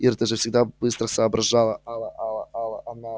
ир ты же всегда быстро соображала